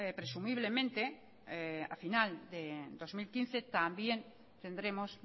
presumiblemente a final de dos mil quince también tendremos